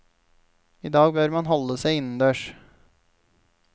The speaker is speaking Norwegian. I dag bør man holde seg innendørs.